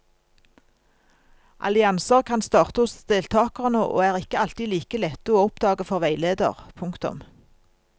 Allianser kan starte hos deltakerne og er ikke alltid like lette å oppdage for veileder. punktum